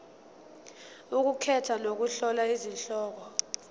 ukukhetha nokuhlola izihloko